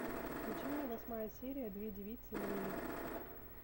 включи мне восьмая серия две девицы на мели